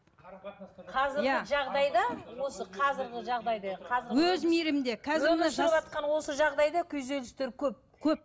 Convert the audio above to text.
қазіргі жағдайда осы қазіргі жағдайда өмір сүріватқан осы жағдайда күйзелістер көп көп